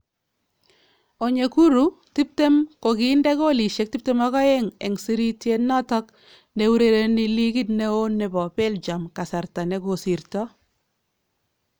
Onyekuru, 20, kokindee koolisyeek 22 en sirityeet noton neurereni ligit neon nebo Belgium kasarta nekosirtoo